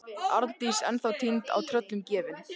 Arndís ennþá týnd og tröllum gefin.